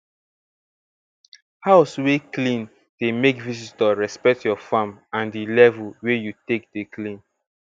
house wey clean dey make visitor respect your farm and di level wey you take dey clean